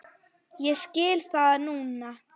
Ég skil það núna.